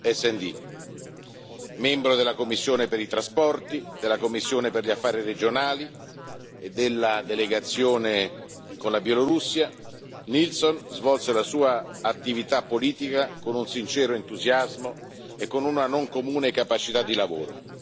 SD. Membro della commissione per i trasporti e il turismo, della commissione per lo sviluppo regionale e della delegazione per le relazioni con la Bielorussia, Nilsson svolse la sua attività politica con un sincero entusiasmo e con una non comune capacità di lavoro.